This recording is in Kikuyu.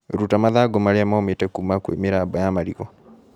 Ruta mathangũ marĩa momĩte kũma kwĩ mĩramba ya marigũ.